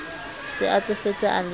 se a tsofetse a le